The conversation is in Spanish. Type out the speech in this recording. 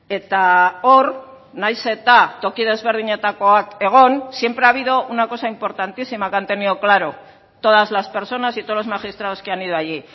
eta hor nahiz eta toki desberdinetakoak egon siempre ha habido una cosa importantísima que han tenido claro todas las personas y todos los magistrados que han ido allí